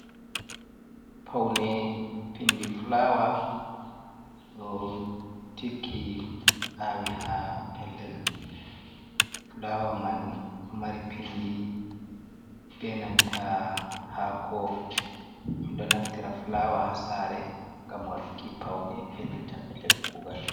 Paune pindi fulawa do tiggi awi ha pellel fulawa man o mari pindi benanta hako do naftira fulawa hasare gam waduki paune benanta pellel kugal.